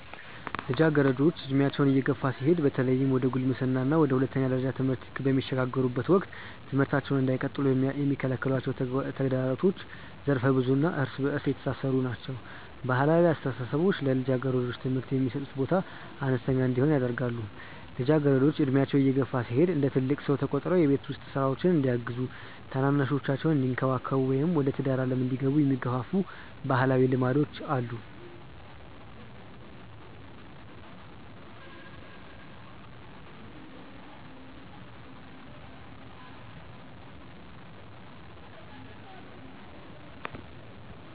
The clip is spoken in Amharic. ልጃገረዶች ዕድሜያቸው እየገፋ ሲሄድ በተለይም ወደ ጉልምስና እና ወደ ሁለተኛ ደረጃ ትምህርት በሚሸጋገሩበት ወቅት ትምህርታቸውን እንዳይቀጥሉ የሚከለክሏቸው ተግዳሮቶች ዘርፈ-ብዙ እና እርስ በእርስ የተሳሰሩ ናቸው። ባህላዊ አስተሳሰቦች ለልጃገረዶች ትምህርት የሚሰጡት ቦታ አነስተኛ እንዲሆን ያደርጋሉ። ልጃገረዶች ዕድሜያቸው እየገፋ ሲሄድ እንደ ትልቅ ሰው ተቆጥረው የቤት ውስጥ ሥራዎችን እንዲያግዙ፣ ታናናሾቻቸውን እንዲንከባከቡ ወይም ወደ ትዳር ዓለም እንዲገቡ የሚገፋፉ ባህላዊ ልማዶች አሉ።